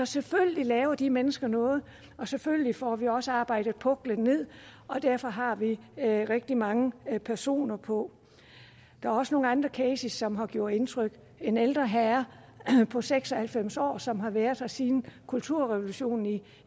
selvfølgelig laver de mennesker noget og selvfølgelig får vi også arbejdet puklen ned og derfor har vi vi rigtig mange personer på der er også nogle andre cases som har gjort indtryk en ældre herre på seks og halvfems år som har været her siden kulturrevolutionen